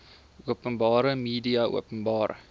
openbare media openbare